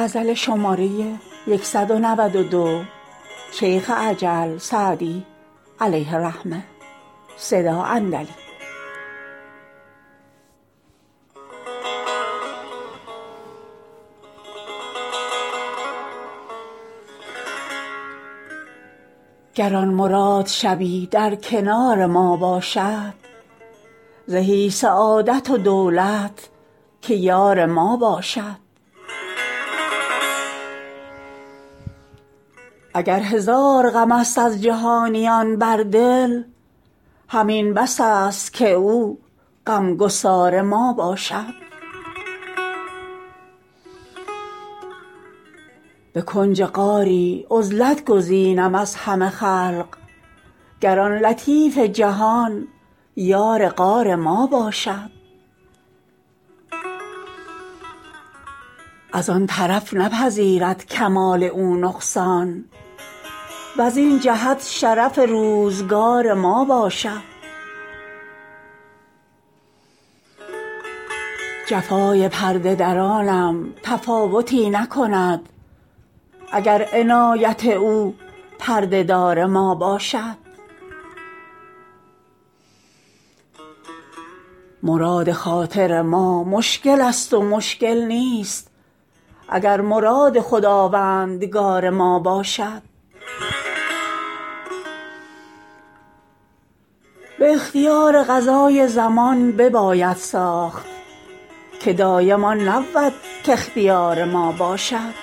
گر آن مراد شبی در کنار ما باشد زهی سعادت و دولت که یار ما باشد اگر هزار غم است از جهانیان بر دل همین بس است که او غم گسار ما باشد به کنج غاری عزلت گزینم از همه خلق گر آن لطیف جهان یار غار ما باشد از آن طرف نپذیرد کمال او نقصان وزین جهت شرف روزگار ما باشد جفای پرده درانم تفاوتی نکند اگر عنایت او پرده دار ما باشد مراد خاطر ما مشکل است و مشکل نیست اگر مراد خداوندگار ما باشد به اختیار قضای زمان بباید ساخت که دایم آن نبود کاختیار ما باشد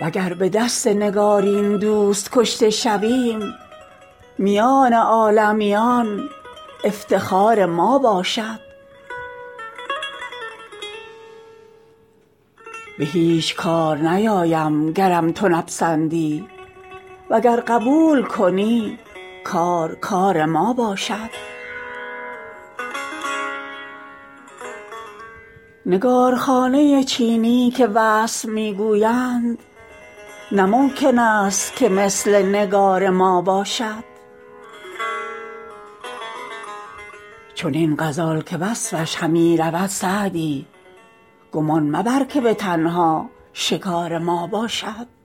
وگر به دست نگارین دوست کشته شویم میان عالمیان افتخار ما باشد به هیچ کار نیایم گرم تو نپسندی وگر قبول کنی کار کار ما باشد نگارخانه چینی که وصف می گویند نه ممکن است که مثل نگار ما باشد چنین غزال که وصفش همی رود سعدی گمان مبر که به تنها شکار ما باشد